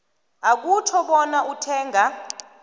akutjho bona uthenga